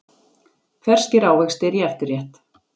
Ferskir ávextir í eftirrétt